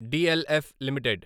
DLF limited